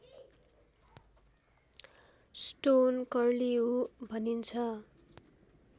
stone curlew भनिन्छ